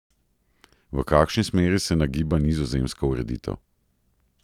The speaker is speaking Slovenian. V kakšni smeri se nagiba nizozemska ureditev?